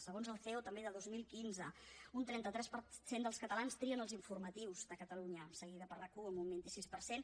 segons el ceo també de dos mil quinze un trenta tres per cent dels catalans trien els informatius de catalunya seguida per rac1 amb un vint sis per cent